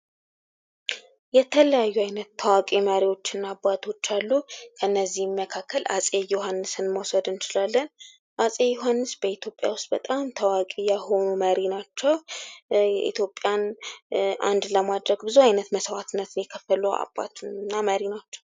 የተለያዩ አይነት ታዋቂ መሪዎችና አባቶች አሉ። እነዚህን መካከል አፄ ዮሃንስም መውሰድ እንችላለን። አፄ ዮሐንስ በኢትዮጲያ ውስጥ በጣም ታዋቂ የሆኑ መሪ ናቸው። የኢትዮጵያን አንድ ለማድረግ ብዙ ዓይነት መስዋዕትነት የከፈለው አባትና ምርጥ ናቸው ።